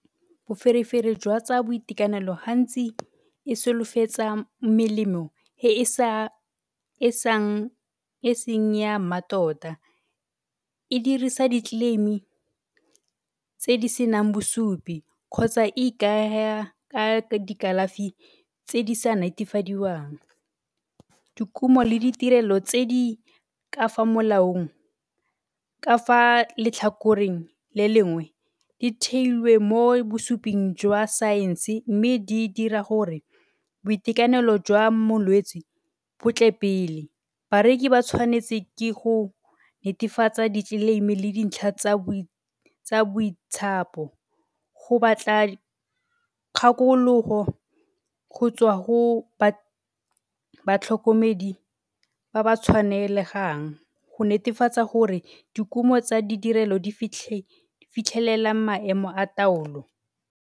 Boferefere jwa tsa boitekanelo hantsi e solofetsa melemo e seng ya mmatota, e dirisa di-claim-i tse di senang bosupi kgotsa e ikaeha ka dikalafi tse di sa netefadiwang. Dikumo le ditirelo tse di ka fa molaong, ka fa letlhakoreng le lengwe di theilwe mo bosuping jwa saense mme di dira gore boitekanelo jwa molwetsi bo tle pele. Bareki ba tshwanetse ke go netefatsa di-claim-i le dintlha tsa bo go batla kgakologo go tswa go tlhokomedi ba ba tshwanelegang go netefatsa gore dikumo tsa ditirelo di fitlhelela maemo a taolo.